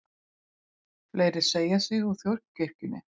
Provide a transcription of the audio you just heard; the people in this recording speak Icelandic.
Fleiri segja sig úr þjóðkirkjunni